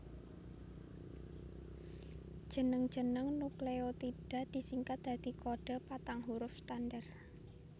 Jeneng jeneng nukleotida disingkat dadi kodhe patang huruf standar